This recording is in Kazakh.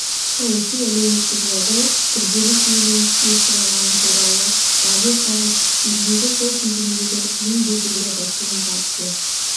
саяси-әлеуметтік жағдай күрделі шиеленіске ұшырағаны туралы дабыл қағып елдегі сол кезеңдегі ең беделді басылым партия